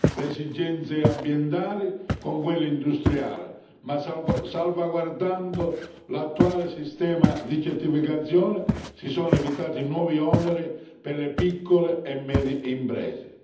le esigenze ambientali con quelle industriali, ma salvaguardando l'attuale sistema di certificazione si sono evitati nuovi oneri per le piccole e medie imprese.